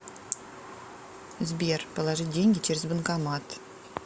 сбер положить деньги через банкомат